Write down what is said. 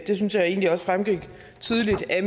det synes jeg egentlig også fremgik tydeligt af